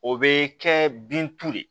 O bɛ kɛ bin tu de